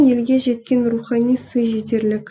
елге жеткен рухани сый жетерлік